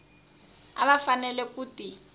a va fanele ku ti